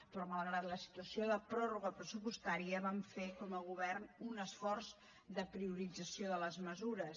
però malgrat la situació de pròrroga pressupostària vam fer com a govern un esforç de priorització de les mesures